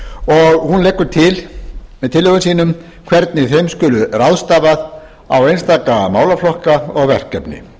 og hún leggur til með tillögum sínum hvernig þeim skuli ráðstafað á einstaka málaflokka og verkefni